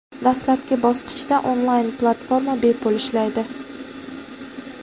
Dastlabki bosqichda onlayn platforma bepul ishlaydi.